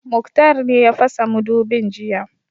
Muktar ne ya fasa mudubin jiya